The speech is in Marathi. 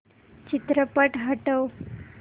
चित्रपट हटव